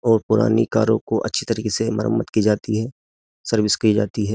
और पुरानी कारों को अच्छी तरीके से मरम्मत की जाती है सर्विस की जाती है।